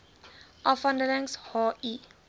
afdelings h i